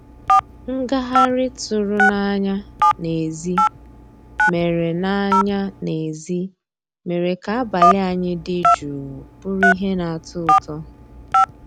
Ngàghàrị́ tụ̀rụ̀ n'ànyá n'èzí mérè n'ànyá n'èzí mérè ká àbàlí ànyị́ dị́ jụ́ụ́ bụ́rụ́ íhé ná-àtọ́ ụtọ́.